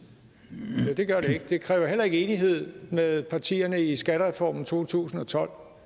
det gør det ikke det kræver heller ikke enighed med partierne i skattereformen to tusind og tolv for